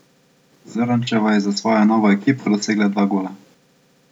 Zrnčeva je za svojo novo ekipo dosegla dva gola.